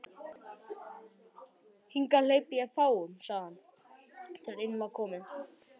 Hingað hleypi ég fáum sagði hann, þegar inn var komið.